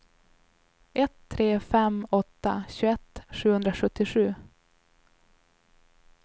ett tre fem åtta tjugoett sjuhundrasjuttiosju